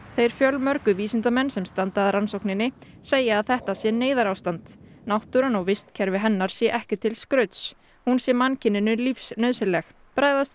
þeir fjölmörgu vísindamenn sem standa að rannsókninni segja þetta neyðarástand náttúran og vistkerfi hennar sé ekki til skrauts hún sé mannkyninu lífsnauðsynleg bregðast